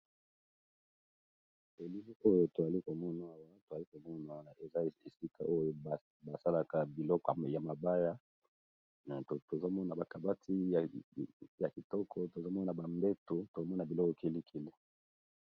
Elili oyo toali komono awa toali komono awa eza esika oyo ba salaka biloko ya mabaya, tozo mona ba kabati ya kitoko tozo mona ba mbeto tozo mona biloko kili kili.